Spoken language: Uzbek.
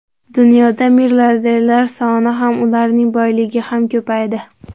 Dunyoda milliarderlar soni ham, ularning boyligi ham ko‘paydi.